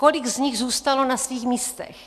Kolik z nich zůstalo na svých místech?